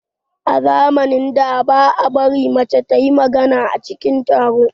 A zamanin da, ba a bari mace ta yi magana a cikin taro.